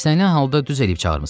İstənilən halda düz eliyib çağırmısan.